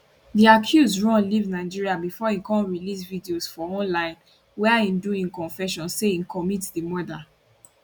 di accused run leave nigeria bifor im come release videos for online wia im do confession say im commit di murder